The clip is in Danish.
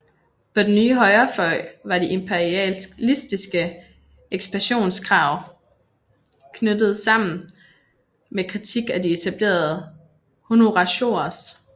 På den nye højrefløj var de imperialistiske ekspansionskrav knyttet sammen med kritik af de etablerede honoratiores